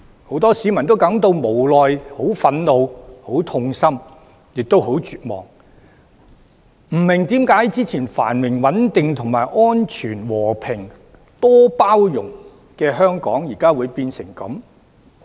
很多市民感到無奈、憤怒、痛心，亦很絕望，不明白之前繁榮穩定、和平安全、多元包容的香港，為何變成現在這樣？